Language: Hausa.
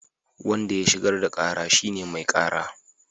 Wanda ya shigar da kara shine mai kara